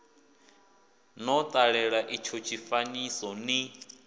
no ṱalela itsho tshifanyiso ni